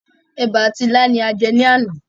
Èbà àti ilá ni a jẹ ní àná.